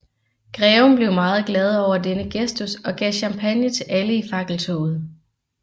Greven blev meget glad over denne gestus og gav champagne til alle i fakkeltoget